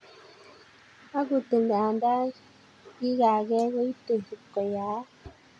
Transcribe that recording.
Akut anda ikagee koitei ko yaak.